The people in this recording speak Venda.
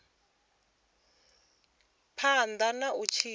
phanḓa na u tshila kha